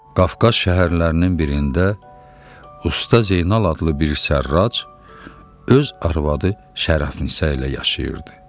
Qafqaz şəhərlərinin birində Usta Zeynal adlı bir sərrac öz arvadı Şərəfnisə ilə yaşayırdı.